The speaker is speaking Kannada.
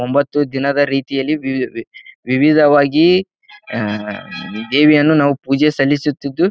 ಒಂಬತ್ತು ದಿನದ ರೀತಿಯಲ್ಲಿ ವಿವಿ ವಿವಿಧವಾಗಿ ಅಹ್ ದೇವಿಯನ್ನು ನಾವು ಪೂಜೆ ಸಲ್ಲಿಸುತ್ತಿದ್ದು--